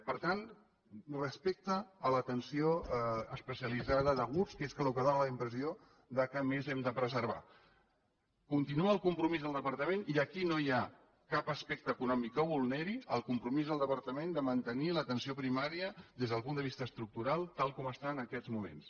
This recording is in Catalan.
per tant respecte a l’atenció especialitzada d’aguts que és el que dóna la impressió que més hem de preservar continua el compromís del departament i aquí no hi ha cap aspecte econòmic que ho vulneri de mantenir l’atenció primària des del punt de vista estructural tal com està en aquests moments